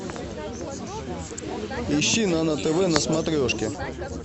ищи нано тв на смотрешке